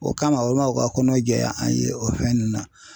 O kama u ma u ka kɔnɔ jɛya an ye o fɛn nunnu na.